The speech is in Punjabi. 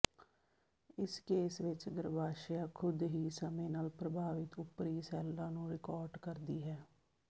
ਇਸ ਕੇਸ ਵਿਚ ਗਰੱਭਾਸ਼ਯ ਖੁਦ ਹੀ ਸਮੇਂ ਨਾਲ ਪ੍ਰਭਾਵਿਤ ਉਪਰੀ ਸੈੱਲਾਂ ਨੂੰ ਰਿਕੌਰਟ ਕਰਦੀ ਹੈ